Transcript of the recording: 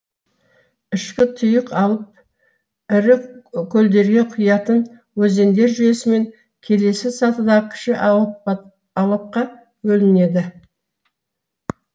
ішкі тұйық алып ірі көлдерге құятын өзендер жүйесімен келесі сатыдағы кіші алапқа бөлінеді